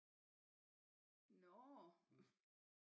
Nå